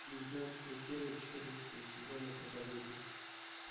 девятнадцатая серия четырнадцатого сезона проповедник